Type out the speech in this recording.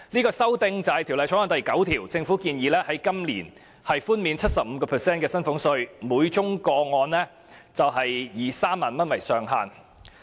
根據《條例草案》第9條，政府建議今年寬減 75% 的薪俸稅等，每宗個案以3萬元為上限。